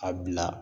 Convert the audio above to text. A bila